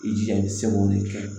I jija i seko de kɛ